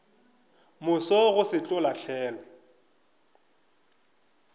moso go se tlo lahlelwa